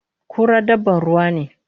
Kura dabban ruwa ne